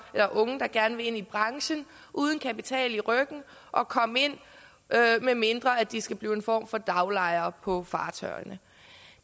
eller unge der gerne vil ind i branchen uden kapital i ryggen at komme ind medmindre de skal blive en form for daglejere på fartøjerne